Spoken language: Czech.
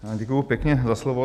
Děkuji pěkně za slovo.